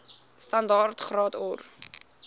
standaard graad or